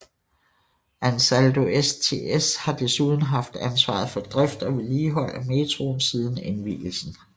Ansaldo STS har desuden haft ansvaret for drift og vedligehold af metroen siden indvielsen